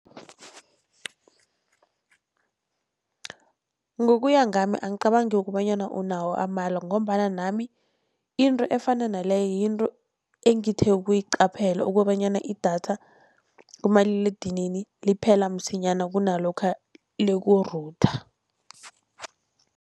Ngokuya ngami angicabangi kobanyana unawo amala, ngombana nami into efana naleyo yinto engithe ukuyiqaphela, kobanyana idatha kumaliledinini liphela msinyana kunalokha liku-router.